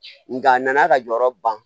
Nka a nana ka jɔyɔrɔ ban